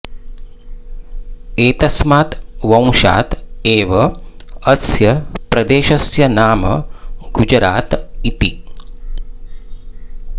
एतस्मात् वंशात् एव अस्य प्रदेशस्य नाम गुजरात इति